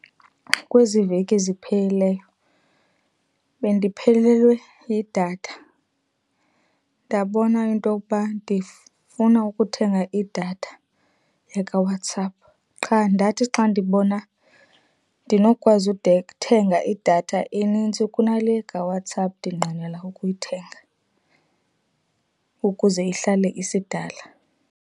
Kwezi veki ziphelileyo bendiphelelwe yidatha ndabona into yokuba ndifuna ukuthenga idatha yakaWhatsApp. Qha ndathi xa ndibona, ndinokwazi uthenga idatha enintsi kunale kaWhatsApp ndinqwenela ukuyithenga ukuze ihlale isidala.